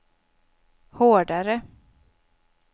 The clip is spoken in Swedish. hårdare